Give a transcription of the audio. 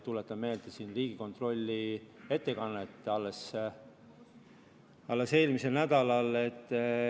Tuletan meelde Riigikontrolli eelmise nädala ettekannet.